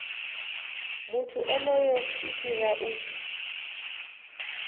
muthu onoyo i fhira u